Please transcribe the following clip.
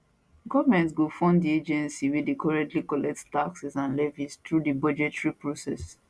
goment go fund di agencies wey dey currently collect taxes and levies through di budgetary process